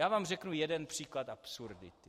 Já vám řeknu jeden příklad absurdity.